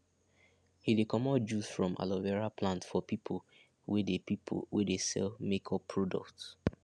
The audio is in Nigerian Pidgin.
he de comot juice from aloe vera plant for people wey dey people wey dey sell make up products